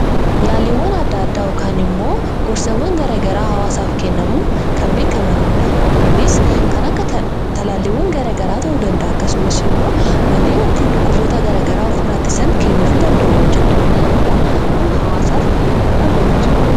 Yaaliiwwan yookaan immoo gorsawwan garaa garaa hawaasaaf kennamuun kan beekamanidha. Kunis kan akka talaalliiwwan gara garaa ta'uu danda'a. Akkasumas immoo malleen ittiin dhukkuboota gara garaa ofirraa ittisan kennuufii danda'u. Hojjettoonni yaalaa kun hawaasaaf gahee guddaa gumaachaniiru.